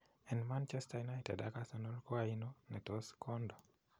En Manchester United ak Arsenal koaino netos kondo?